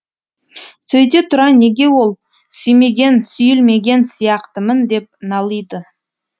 сөйте тұра неге ол сүймеген сүйілмеген сияқтымын деп налиды